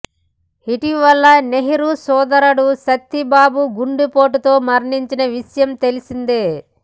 ఇటీవల నెహ్రూ సోదరుడు సత్తిబాబు గుండెపోటుతో మరణించిన విషయం తెలిసిందే